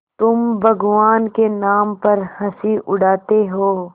तुम भगवान के नाम पर हँसी उड़ाते हो